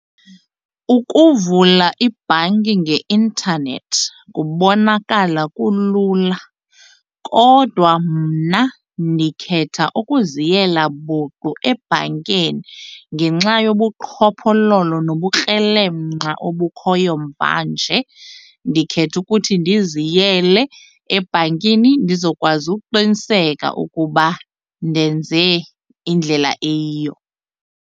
Ukuvula ibhanki ngeintanethi kubonakala kulula kodwa mna ndikhetha ukuziyela buqu ebhankeni. Ngenxa yobuqhophololo nobukrelemnqa obukhoyo mvanje ndikhethe ukuthi ndiziyele ebhankini ndizokwazi ukuqiniseka ukuba ndenze indlela eyiyo.